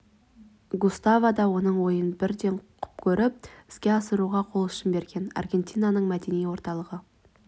густаво да оның ойын бірден құп көріп іске асыруға қол ұшын берген аргентинаның мәдени орталығы